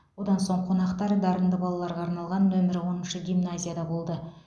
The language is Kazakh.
одан соң қонақтар дарынды балаларға арналған нөмірі оныншы гимназияда болды